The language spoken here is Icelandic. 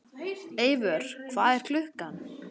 Eivör, hvað er klukkan?